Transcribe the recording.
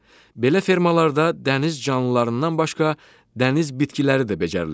Belə fermalarda dəniz canlılarından başqa dəniz bitkiləri də becərilir.